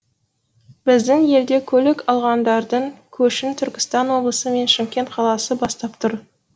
біздің елде көлік алғандардың көшін түркістан облысы мен шымкент қаласы бастап тұр